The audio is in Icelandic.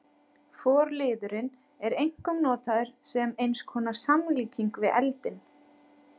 Forliðurinn er einkum notaður sem eins konar samlíking við eldinn.